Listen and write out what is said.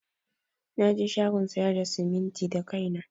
Naje shagon sayar da simintin da kaina.